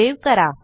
save करा